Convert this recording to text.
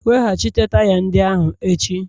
Weghachite taya ndị ahụ echi!